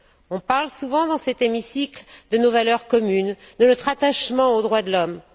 On parle souvent, dans cet hémicycle, de nos valeurs communes, de notre attachement aux droits de l'homme.